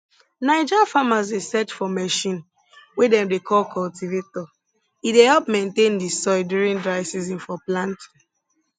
naija farmers dey search for machine wey dem dey call cultivator e dey help maintain di soil during dry season for planting